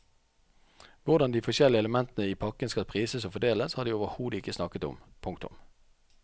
Hvordan de forskjellige elementene i pakken skal prises og fordeles har de overhodet ikke snakket om. punktum